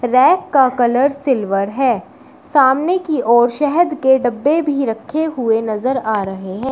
Rack का colour silver है सामने की ओर शहद के डब्बे भी रखे हुए नजर आ रहे हैं।